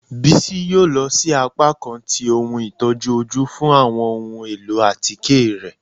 Bisi yóò lọ si apakan tí ohún itojú ojú fún awọn ohún elọ́ atike rẹ.